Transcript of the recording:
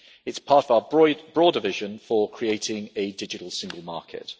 It is part of our broader vision for creating a digital single market.